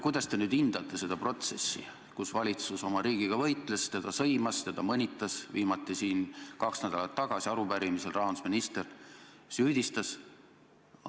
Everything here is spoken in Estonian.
Kuidas te nüüd hindate seda protsessi, kus valitsus oma riigiga võitles, teda sõimas, teda mõnitas – viimati siin kaks nädalat tagasi arupärimisele vastates rahandusminister süüdistas riiki?